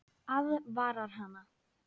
Aðvarar hana.